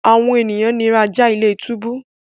àwọn ènìyàn nira já ilé-túbú.